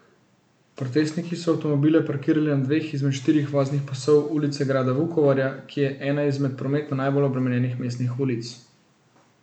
Protestniki so avtomobile parkirali na dveh izmed štirih voznih pasov Ulice grada Vukovarja, ki je ena izmed prometno najbolj obremenjenih mestnih ulic.